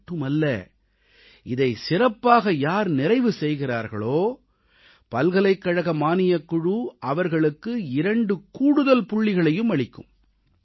இது மட்டுமல்ல இதைச் சிறப்பாக யார் நிறைவு செய்கிறார்களோ பல்கலைக்கழக மானியக்குழு அவர்களுக்கு 2 கூடுதல் புள்ளிகளையும் அளிக்கும்